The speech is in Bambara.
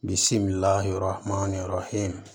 Bi si min la yɔrɔ ma yɔrɔ ye